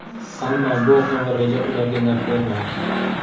Ammo, bu qing‘ir reja ularga naf bermadi.